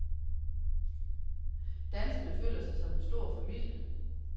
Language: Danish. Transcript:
Danserne føler sig som en stor familie.